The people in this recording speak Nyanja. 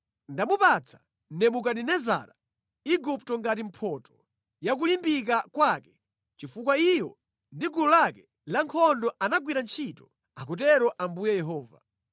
Ndamupatsa Nebukadinezara Igupto ngati mphotho ya kulimbika kwake chifukwa iyo ndi gulu lake lankhondo anandigwirira ntchito, akutero Ambuye Yehova.